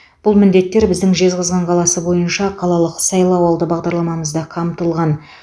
бұл міндеттер біздің жезқазған қаласы бойынша қалалық сайлауалды бағдарламамызда қамтылған